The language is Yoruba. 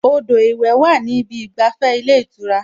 Odò ìwẹ̀ wà ní ìbi ìgbàfẹ́ ilé ìtura